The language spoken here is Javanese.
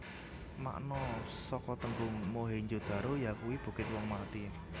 Makna saka tembung Mohenjo daro yakuwi Bukit wong mati